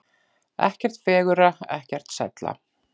Ekkert fegurra, ekkert sælla.